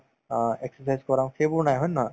অ, exercise কৰাওঁ সেইবোৰ নাই হয় নে নহয়